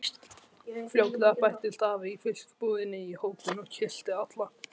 Fljótlega bættist afi í fiskbúðinni í hópinn og kyssti alla.